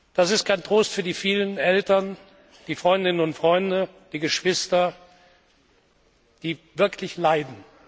Das ist kein Trost für die vielen Eltern, die Freundinnen und Freunde, die Geschwister, die wirklich leiden.